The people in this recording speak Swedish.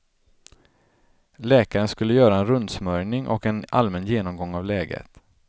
Läkaren skulle göra en rundsmörjning och en allmän genomgång av läget.